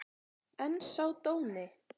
En sá dóni!